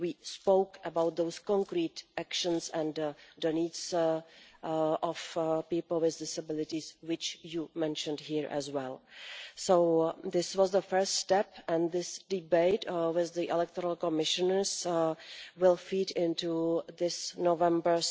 We spoke about those concrete actions and the needs of people with disabilities, which you have mentioned here as well. This was the first step and this debate with the electoral commissioners will feed into this November's